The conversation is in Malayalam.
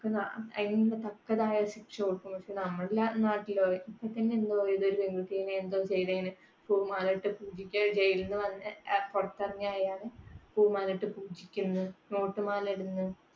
അതിനു തക്കതായ ശിക്ഷ കൊടുക്കും. പക്ഷെ നമ്മുടെ നാട്ടിലെ ഏതോ ഒരു പെൺകുട്ടിനെ എന്തോ ചെയ്തതിന് പൂമാലയിട്ട് പൂജിച്ച jail ലിൽ നിന്ന് വന്ന് പുറത്തിറങ്ങിയ അയാളെ പൂമാലയിട്ട് പൂജിക്കുന്ന് നോട്ടുമാല ഇടുന്ന്